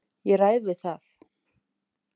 Ég ræð við það.